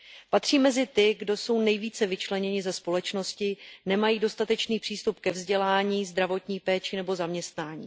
Patří mezi ty, kdo jsou nejvíce vyčleněni ze společnosti, nemají dostatečný přístup ke vzdělání, zdravotní péči nebo zaměstnání.